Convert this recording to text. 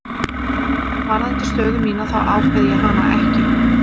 Varðandi stöðu mína þá ákveð ég hana ekki.